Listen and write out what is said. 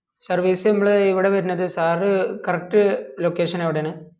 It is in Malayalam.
service നമ്മള് ഇവിടെ വെരുന്നത് sir correct location എവിടെ ആണ്